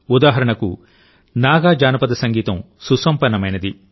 ఉదాహరణకునాగా జానపద సంగీతం సుసంపన్నమైంది